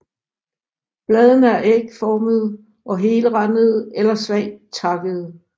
Bladene er ægformede og helrandede eller svagt takkede